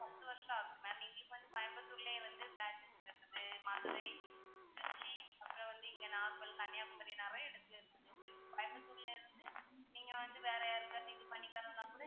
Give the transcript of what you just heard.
பத்து வருஷம் ஆகுது ma'am இன்னைக்கு வந்து கோயம்புத்தூர்லையே வந்து branch இருக்கு மதுரை, திருச்சி, அப்பறம் வந்து இங்க நாகர்கோவில் கன்னியாகுமரி நாவே உங்களுக்கு கோயம்புத்தூர்னாவே நீங்க வந்து வேற யாருக்காவது இது பண்ணி தரணும்ன்னாக்கூட